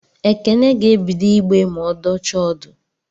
Ekene ga-ebido ịgbe ma ọ dọchaa ọdụ